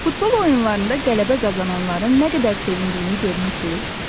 Futbol oyunlarında qələbə qazananların nə qədər sevindiyini görmüsünüz?